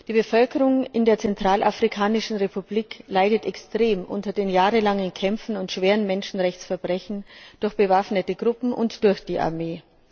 Die Bevölkerung in der Zentralafrikanischen Republik leidet extrem unter den jahrelangen Kämpfen und schweren Menschenrechtsverletzungen durch bewaffnete Gruppen und durch die Armee.